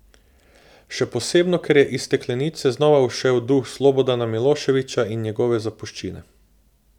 Še posebno ker je iz steklenice znova ušel duh Slobodana Miloševića in njegove zapuščine.